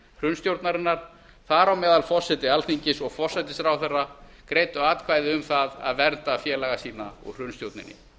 hrunstjórnarinnar þar á meðal forseti alþingis og forsætisráðherra greiddu atkvæði um það að vernda félaga sína úr hrunstjórninni